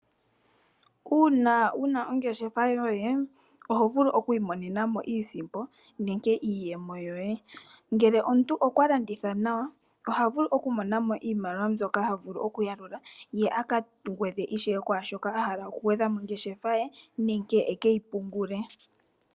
Uuna wu na ongeshefa yoye oho vulu okwiimonena mo iisimpo nenge iiyemo yoye. Ngele omuntu okwa landitha nawa oha vulu okumona mo iimaliwa mbyoka ha yalula opo a gwedhe mongeshefa ye nenge e ke yi pungule.